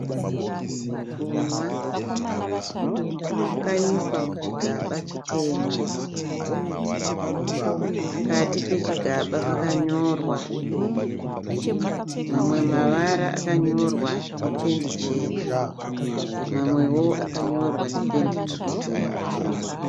Kunwa kwakaiswa muchigaba chitema. Pakati pechigaba pakanyorwa mamwe mavara akanyorwa nependi chena. Mamwewo akanyorwa nependi tsvuku.